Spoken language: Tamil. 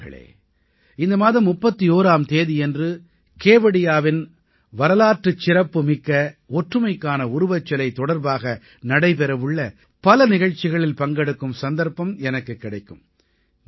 நண்பர்களே இந்த மாதம் 31ஆம் தேதியன்று கேவடியாவின் வரலாற்று சிறப்புமிக்க ஒற்றுமைக்கான உருவச்சிலை தொடர்பாக நடைபெறவுள்ள பல நிகழ்ச்சிகளில் பங்கெடுக்கும் சந்தர்ப்பம் எனக்குக் கிடைக்கும்